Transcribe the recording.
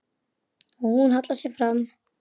Hún hallar sér fram.